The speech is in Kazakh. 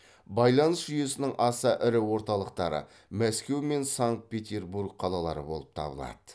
байланыс жүйесінің аса ірі орталықтары мәскеу мен санкт петербург қалалары болып табылады